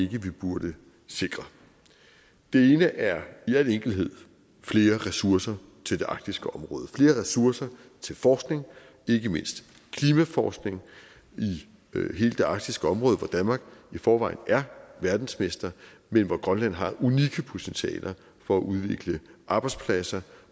vi burde sikre det ene er i al enkelthed flere ressourcer til det arktiske område flere ressourcer til forskning ikke mindst klimaforskning i hele det arktiske område hvor danmark i forvejen er verdensmester men hvor grønland har unikke potentialer for at udvikle arbejdspladser